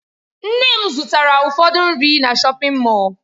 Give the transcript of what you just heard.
Nne m zụtara ụfọdụ nri na shọpin Mọll.